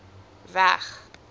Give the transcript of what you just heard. w e g